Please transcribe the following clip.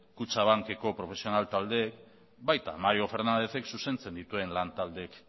kutxabankeko profesional taldeek baita mario fernándezek zuzentzen dituen lan taldeek